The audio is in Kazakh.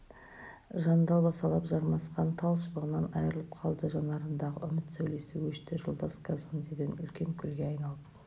жандалбасалап жармасқан тал шыбығынан айрылып қалды жанарындағы үміт сәулесі өшті жолдас казондеден үлкен көлге айдап